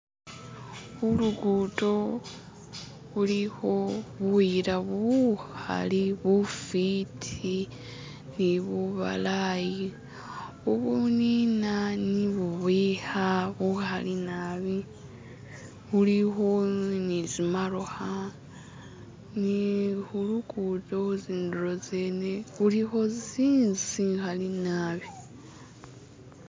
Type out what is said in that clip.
Khulukudo khulikho buyila bukali bufwiti ni bubalayi, bunina ni bubwikha bukhali nabi, bulikho netsi motokha ne khulukudo khundulo tsene khulikho zi'nzu zikhale nabi